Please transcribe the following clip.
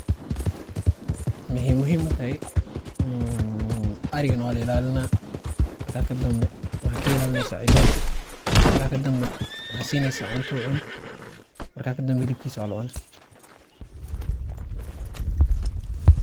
Maxay muxiim utaxay emm, arigan wa lailalina, marka kadambe, waxay kailalinaysa cidodka, marka kadambe waxasineysaa cunta u cumo, marka kadambee xilibkis walacunaa.